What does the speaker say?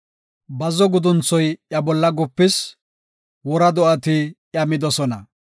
Bazzo gudunthoy iya bolla gupis; wora do7ati iya midosona.